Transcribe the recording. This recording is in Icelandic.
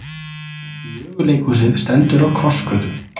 Möguleikhúsið stendur á krossgötum